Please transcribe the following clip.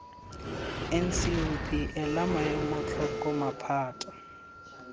ncop ela maemo tlhoko maphata